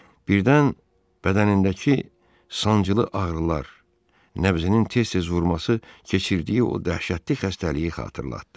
Birdən bədənindəki sancılı ağrılar, nəbzinin tez-tez vurması keçirdiyi o dəhşətli xəstəliyi xatırlatdı.